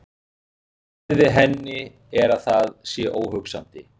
Svarið við henni er að það sé óhugsandi.